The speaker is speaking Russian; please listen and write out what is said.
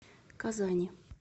казани